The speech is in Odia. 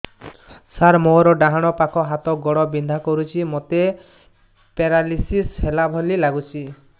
ସାର ମୋର ଡାହାଣ ପାଖ ହାତ ଗୋଡ଼ ବିନ୍ଧା କରୁଛି ମୋତେ ପେରାଲିଶିଶ ହେଲା ଭଳି ଲାଗୁଛି